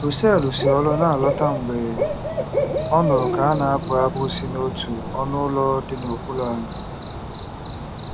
Russell si ọrụ na-alọta mgbe ọ nụrụ ka a na-abụ abụ si n’otu ọnụ ụlọ dị n’okpuru ala.